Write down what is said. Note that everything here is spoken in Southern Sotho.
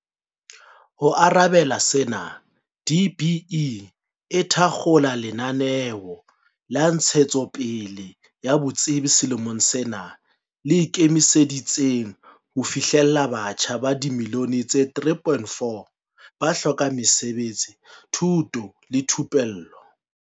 Ho arabela sena, DBE e thakgola lenaneo la ntshetsopele ya botsebi selemong sena le ikemiseditseng ho fihlella batjha ba dimillione tse3.4 ba hlokang mesebetsi, thuto le thupello.